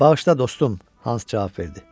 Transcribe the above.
Bağışla dostum, Hans cavab verdi.